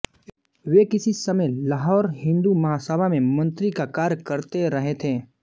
वे किसी समय लाहौर हिन्दू महासभा में मंत्री का कार्य करते रहे थे